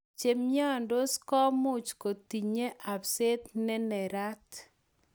Chemiondos komuch kotiny abseet nenerat.